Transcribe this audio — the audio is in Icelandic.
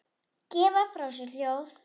gefa frá sér hljóð